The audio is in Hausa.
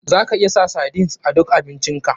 Za ka iya sa sardines a duk abincin ka.